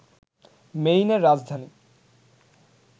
মেইনের রাজধানী